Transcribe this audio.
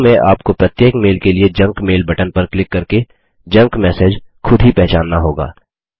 शुरू में आपको प्रत्येक मेल के लिए जंक मेल बटन पर क्लिक करके जंक मैसेज खुद ही पहचानना होगा